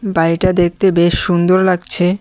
বাড়িটা দেখতে বেশ সুন্দর লাগছে।